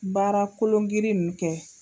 Baara kolongirin ninnu kɛ.